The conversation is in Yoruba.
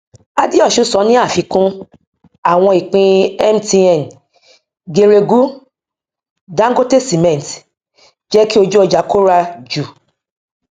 adeosun sọ ní àfikún àwọn ìpín mtn geregu dangote cement jẹ kí ojú ọjà kóra jù